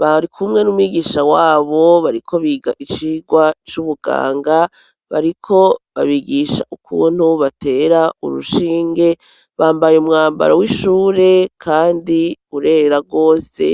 bari kumwe n'umwigisha wabo bariko biga icigwa c'ubuganga bariko babigisha ukuntu batera urushinge, bambaye umwambaro w'ishure kandi urera rwose.